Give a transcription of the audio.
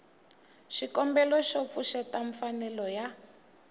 xikombelo xo pfuxeta mfanelo ya